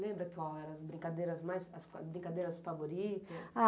Lembra qual eram as brincadeiras mais as qua brincadeiras favoritas?